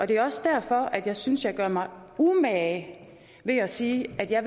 det er også derfor at jeg synes jeg gør mig umage med at sige at jeg